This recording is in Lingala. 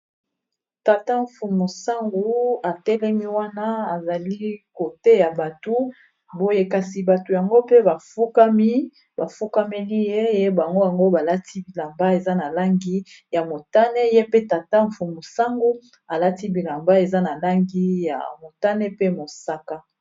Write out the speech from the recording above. Tata mfumu sango atelemi wana azali koteya batu boye kasi batu yango mpe bafukami bafukameli ye ye bango yango balati bilamba eza na langi ya motane ye pe tata mfumu sango alati bilamba eza na langi ya motane pe mosaka.